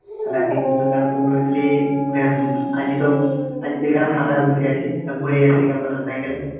আজগেও আজগে তো ফাঁকায় বসে আছি তো ঘুরেই আসি motorcycle এ